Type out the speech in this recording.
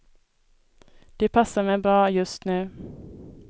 Det passar mig bra, just nu.